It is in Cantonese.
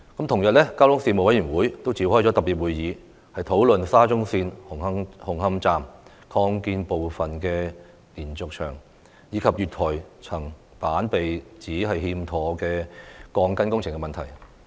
同日，交通事務委員會也召開特別會議，討論沙中線紅磡站擴建部分的連續牆及月台層板被指欠妥的鋼筋工程問題。